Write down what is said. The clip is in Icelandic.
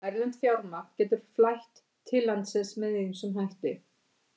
Erlent fjármagn getur flætt til landsins með ýmsum hætti.